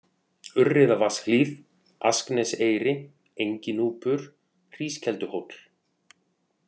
Urriðavatnshlíð, Askneseyri, Enginúpur, Hrískelduhóll